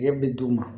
Nɛgɛ bɛ d'u ma